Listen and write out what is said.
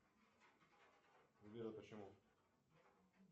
сбер а почему